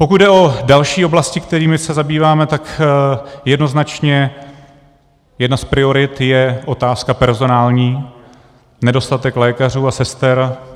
Pokud jde o další oblasti, kterými se zabýváme, tak jednoznačně jedna z priorit je otázka personální - nedostatek lékařů a sester.